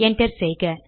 enter செய்க